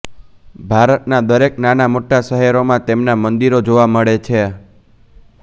ભારતના દરેક નાના મોટાં શહેરોમાં તેમના મંદિરો જોવા મળે છે